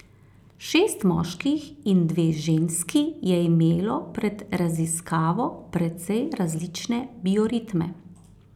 Šest moških in dve ženski je imelo pred raziskavo precej različne bioritme.